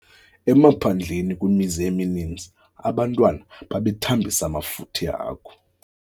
Emaphandleni kwimizi emininzi abantwana babethambisa amafutha ehagu.